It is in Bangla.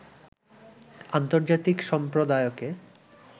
আন্তর্জাতিক সম্প্রদায়কে